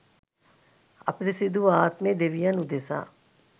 අපිරිසිදු වූ ආත්මය දෙවියන් උදෙසා